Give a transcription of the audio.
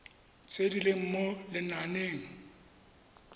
tse di leng mo lenaaneng